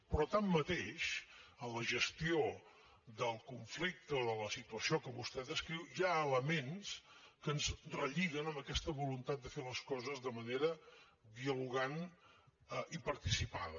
però tanmateix en la gestió del conflicte o de la situació que vostè descriu hi ha elements que ens relliguen amb aquesta voluntat de fer les coses de manera dialogant i participada